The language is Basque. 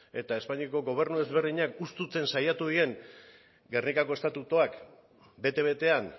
eta espainiako gobernu ezberdinak husten saiatu diren gernikako estatutuak bete betean